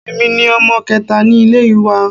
Èmi ni ọmọ kẹta ní ilé wa